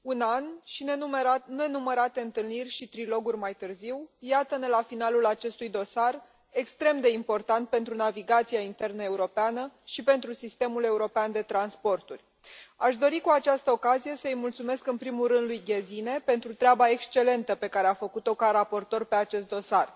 Mulțumesc, doamna președintă, doamnă comisar, dragi colegi, un an și nenumărate întâlniri și triloguri mai târziu, iată ne la finalul acestui dosar extrem de important pentru navigația internă europeană și pentru sistemul european de transporturi. Aș dori cu această ocazie să îi mulțumesc în primul rând lui Gesine pentru treaba excelentă pe care a făcut o ca raportoare pe acest dosar.